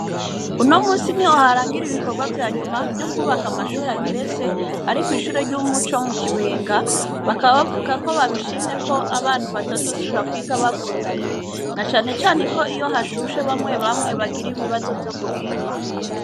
Uno musi ni ho harangire ibikorwa vyanyuma vyo kubaka amashuri ageretse, ariko 'ishuri ry'umuco mu kibenga bakabavuga ko babishimye ko abantu batazosubira kwiga bagundanye na canecane ko iyo hashushe bamwe bamwe bagire ibibazo vyo guhema.